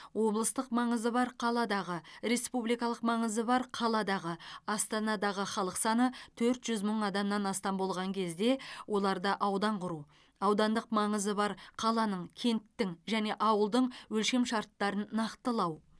облыстық маңызы бар қаладағы республикалық маңызы бар қаладағы астанадағы халық саны төрт жүз мың адамнан астам болған кезде оларда аудан құру аудандық маңызы бар қаланың кенттің және ауылдың өлшемшарттарын нақтылау